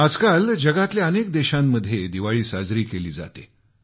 आजकाल जगातल्या अनेक देशांमध्ये दिवाळी साजरी केली जाते